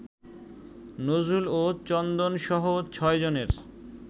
নজরুল ও চন্দনসহ ছয়জনের